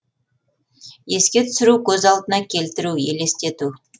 еске түсіру көз алдына келтіру елестету